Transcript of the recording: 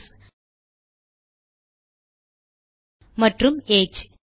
is மற்றும் age